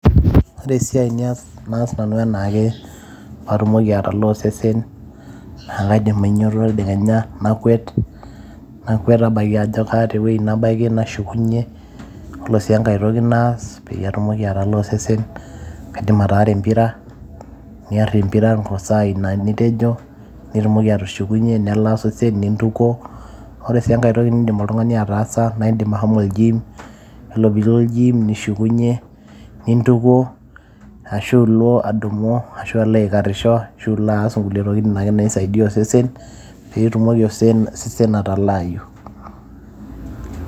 Ore esiai niyas, naas nanu enaake pee atumoki atalaa osesen naa kaidim ainyio tedekenya nakwet, nakwet abaiki ajo keeta ewueji nabaiki nashukunyie. Yiolo sii enkae toki naidim naas pee atumoki atalaa osesen naa kaidim ataara empira. Niarr empira too sai ina nitejo nitumoki atushukunyie nelaa osesen nintukuo. Ore sii enkae toki nidim oltung`ani ataasa naa idim ashomo ol gym. Naa ore pee ilo ol gym nishukunyie nintukuo, ashu ilo adumu, ashu ilo aikarrisho ashu aas nkulie tokitin ake naisaidia osesen pee etumoki osesen atalaayu.